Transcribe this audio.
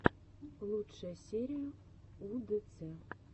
лучшая серия удэцэ